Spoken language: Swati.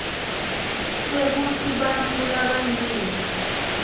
kwekutsi bantfu labanyenti